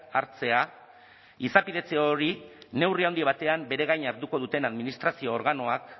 hartzea izapidetze hori neurri handi batean bere gain hartuko duten administrazio organoak